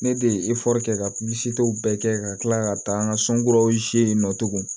Ne de ye kɛ ka bɛɛ kɛ ka kila ka taa n ka so kuraw in nɔ tugun